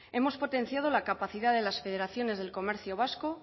hemos potenciado la capacidad de las federaciones del comercio vasco